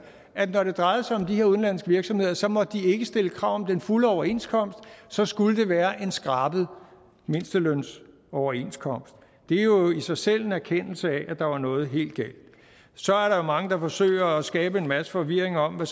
at når det drejede sig om de her udenlandske virksomheder så måtte de ikke stille krav om den fulde overenskomst så skulle det være en skrabet mindstelønsoverenskomst det er jo i sig selv en erkendelse af at der var noget helt galt så er der mange der forsøger at skabe en masse forvirring om hvad